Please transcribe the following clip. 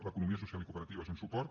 l’economia social i cooperativa és un suport